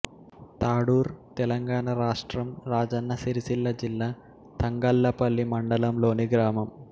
తాడూర్ తెలంగాణ రాష్ట్రం రాజన్న సిరిసిల్ల జిల్లాతంగళ్లపల్లి మండలంలోని గ్రామం